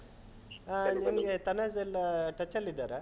ಹಾ ನಿಮ್ಗೆ, ತನಾಝ್ ಎಲ್ಲಾ touch ಅಲ್ಲಿದ್ದಾರಾ?